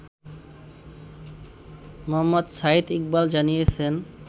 মোহাম্মদ সাঈদ ইকবাল জানিয়েছেন